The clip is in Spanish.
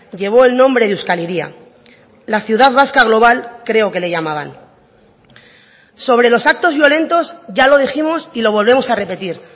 llevó el nombre de euskal hiria la ciudad vasca global creo que le llamaban sobre los actos violentos ya lo dijimos y lo volvemos a repetir